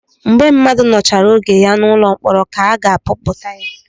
Mgbe mmadụ nọchara oge ya n'ụlọ mkpọrọ ka ọ ga-apụta